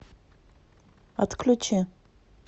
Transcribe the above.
отключи